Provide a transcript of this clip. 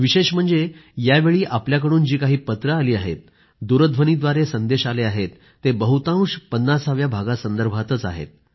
विशेष म्हणजे यावेळी आपल्याकडून जी काही पत्रं आली आहेत दूरध्वनीव्दारे संदेश आले आहेत ते बहुतांश 50 व्या भागासंदर्भातच आहेत